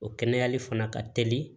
O kɛnɛyali fana ka teli